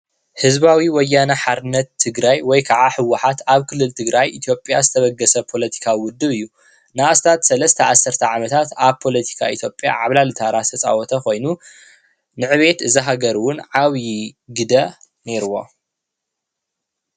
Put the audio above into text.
ህዝባዊ ወያነ ሓርነት ትግራይ ወይ ከዓ ህወሓት ኣብ ክልል ትግራይ ኢትዮጵያ ዝተበገሰ ፖለቲካዊ ውድብ እዩ ። ንኣስታት ሰለስተ ኣስርተ ዓመታት ኣብ ፖለቲካ ኢትዮጵያ ዓብላሊ ታራ ዝተፃወተ ኾይኑ ንዕቤት እዛ ሃገር እውን ዓብዪ ግደ ኔርዎ።